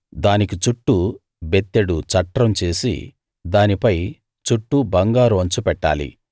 దానికి చుట్టూ బెత్తెడు చట్రం చేసి దానిపై చుట్టూ బంగారు అంచు పెట్టాలి